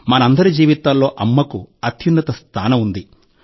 మనందరి జీవితాల్లో 'అమ్మ'కు అత్యున్నత స్థానం ఉంది